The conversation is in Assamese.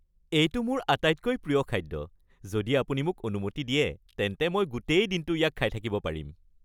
এইটো মোৰ আটাইতকৈ প্ৰিয় খাদ্য, যদি আপুনি মোক অনুমতি দিয়ে, তেন্তে মই গোটেই দিনটো ইয়াক খাই থাকিব পাৰিম।